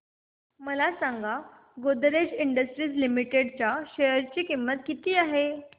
मला सांगा Godrej industries limited च्या शेअर ची किंमत किती आहे